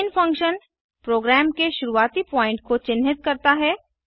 man function program के शुरुआती point को चिन्हित करता है